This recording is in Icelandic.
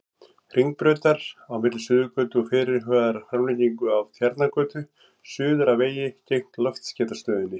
Hringbrautar, á milli Suðurgötu og fyrirhugaðrar framlengingu af Tjarnargötu, suður að vegi gegnt Loftskeytastöðinni.